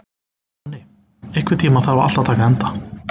Nonni, einhvern tímann þarf allt að taka enda.